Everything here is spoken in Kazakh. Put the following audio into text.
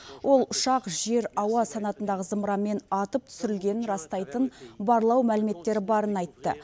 ол ұшақ жер ауа санатындағы зымыранмен атып түсірілгенін растайтын барлау мәліметтері барын айтты